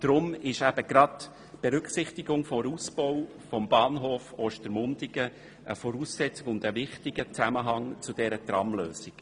Deshalb ist die Berücksichtigung des Ausbaus des Bahnhofs Ostermundigen eine Voraussetzung und ein wichtiger Zusammenhang dieser Tramlösung.